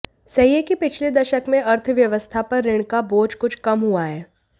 सही है कि पिछले दशक में अर्थव्यवस्था पर ऋण का बोझ कुछ कम हुआ है